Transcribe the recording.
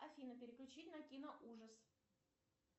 афина переключить на киноужас